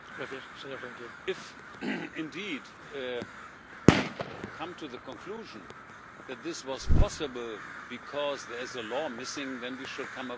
If, indeed, we come to the conclusion that this was possible because there is a law missing, then we should come up with another law.